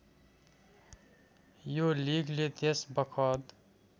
यो लिगले त्यसबखत